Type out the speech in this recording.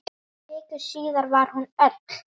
Viku síðar var hún öll.